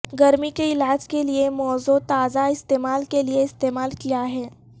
گرمی کے علاج کے لئے موزوں تازہ استعمال کے لیے استعمال کیا ہے